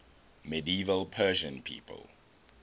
medieval persian people